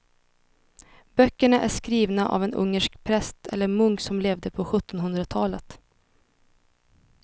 Böckerna är skrivna av en ungersk präst eller munk som levde på sjuttonhundratalet.